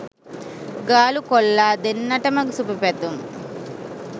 ගාලු කොල්ලා දෙන්නටම සුභ පැතුම්!